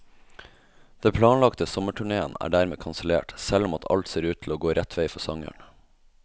Den planlagte sommerturnéen er dermed kansellert, selv om alt ser ut til å gå rett vei for sangeren.